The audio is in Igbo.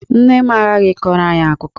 Nne m aghaghị ịkọrọ anyị akụkọ!